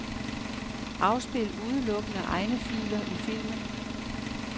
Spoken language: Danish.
Afspil udelukkende egne filer i filmen.